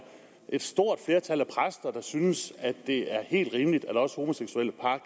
et stort flertal af præster der synes det er helt rimeligt at også homoseksuelle par